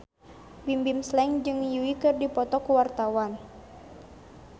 Bimbim Slank jeung Yui keur dipoto ku wartawan